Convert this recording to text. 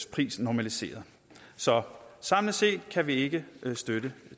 priser normaliseret så samlet set kan vi ikke støtte